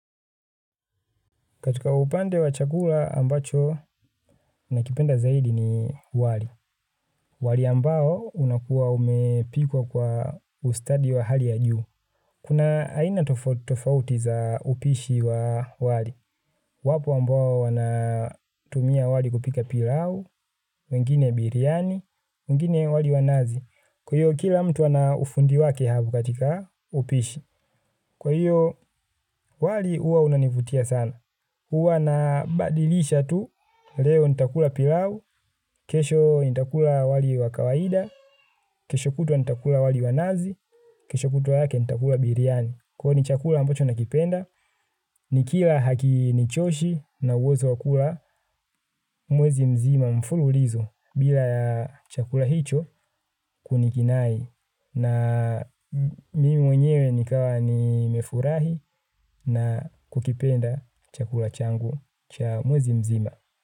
Katika upande wa chakula ambacho nakipenda zaidi ni wali. Wali ambao unakuwa umepikwa kwa ustadi wa hali ya juu. Kuna aina tofauti tofauti za upishi wa wali. Wapo ambao wanatumia wali kupika pilau, wengine biriani, wengine wali wa nazi. Kwa hiyo kila mtu ana ufundi wake katika upishi. Kwa hiyo wali juwa unanivutia sana. Huwa nabadilisha tu, leo nitakula pilau, kesho nitakula wali wa kawaida, kesho kutwa nitakula wali wa nazi, kesho kutwa lake nitakula biriani. Kwani ni chakula ambacho nakipenda, nikila hakinichoshi na ninaweza kula mwezi mzima mfululizo bila chakula hicho kunikinai. Na mimi mwenyewe nikawa nimefurahi na kukipenda chakula changu cha mwezi mzima.